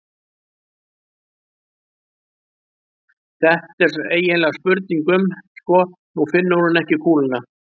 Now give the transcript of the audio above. Þetta er eiginlega spurning um. sko, nú finnur hún ekki kúluna.